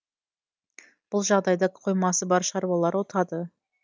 бұл жағдайда қоймасы бар шаруалар ұтады